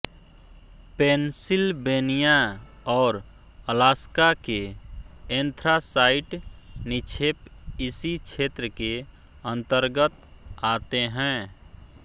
Pennsylvania और Alaska के anthracite निक्षेप इसी क्षेत्र के अंतर्गत आते हैं